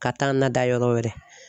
Ka taa n nada yɔrɔ wɛrɛ.